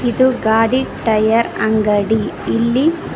ಇದು ಗಾಡಿ ಟೈಯರ್ ಅಂಗಡಿ ಇಲ್ಲಿ--